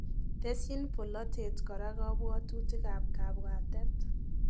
Tesyin polatet kora kapwatutik ab kapwatet